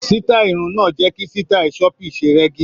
Sítáì irun náà jẹ́ kí sítáì choppy ṣe rẹ́gí.